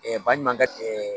baɲumankɛ